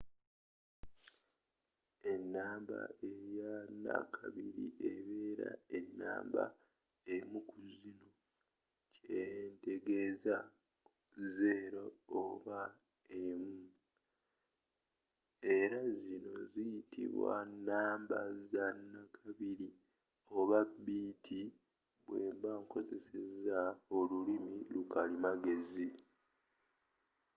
ennamba eya nakabiri ebera ne namba emu kuzino kyentegeeza 0 oba 1 era zino ziyitibwa nnamba zinakabiri oba biiti bwemba ngankozeseza olulimi lwa kalimagezi